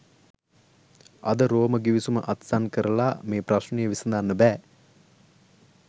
අද රෝම ගිවිසුම අත්සන් කරලා මේ ප්‍රශ්ණය විසඳන්න බෑ